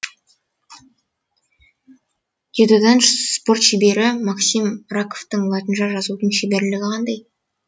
дзюдодан спорт шебері максим раковтың латынша жазудан шеберлігі қандай